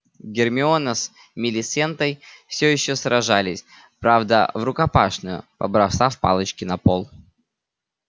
гермиона с милисентой всё ещё сражались правда врукопашную побросав палочки на пол